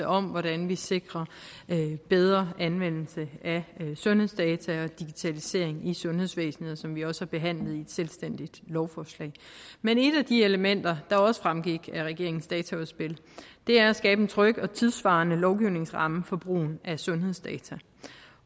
om hvordan vi sikrer en bedre anvendelse af sundhedsdata og digitalisering i sundhedsvæsenet og som vi også har behandlet i et selvstændigt lovforslag men et af de elementer der også fremgik af regeringens dataudspil er at skabe en tryg og tidssvarende lovgivningsramme for brugen af sundhedsdata